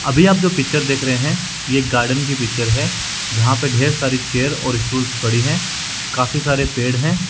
अभी आप जो पिक्चर देख रहे है ये गार्डन की पिक्चर है जहां पे ढेर सारी चेयर और स्टूल पड़ी है काफी सारे पेड़ है।